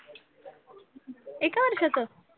एका वर्षाचं